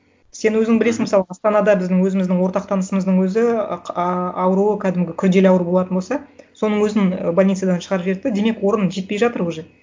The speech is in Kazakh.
сен өзің білесің мысалы астанада біздің өзіміздің ортақ танысымыздың өзі ы ауру кәдімгі күрделі ауру болатын болса соның өзін больницадан шығарып жіберді де демек орын жетпей жатыр уже